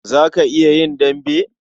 Za ka iya yin dambe?